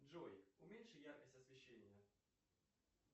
джой уменьши яркость освещения